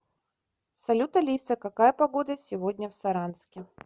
салют алиса какая погода сегодня в саранске